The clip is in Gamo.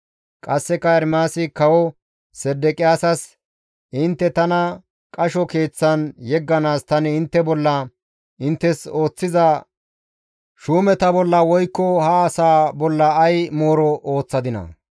Qasseka Ermaasi Kawo Sedeqiyaasas, «Intte tana qasho keeththan yegganaas tani intte bolla, inttes ooththiza shuumeta bolla woykko ha asaa bolla ay mooro ooththadinaa?